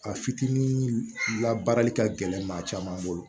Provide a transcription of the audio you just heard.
A fitinin labaarali ka gɛlɛn maa caman bolo